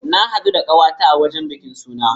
Na haɗu da ƙawa ta a wurin bikin suna.